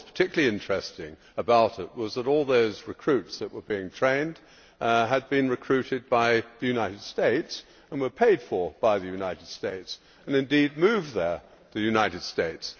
What was particularly interesting about it was that all those recruits that were being trained had been recruited by the United States and were paid for by the United States, and indeed moved there by the United States.